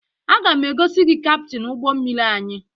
Aga m egosi gị kaptịn ụgbọ mmiri anyị